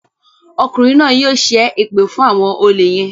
Ọkùnrin náà yóò ṣe èpè fún àwọn olè yén.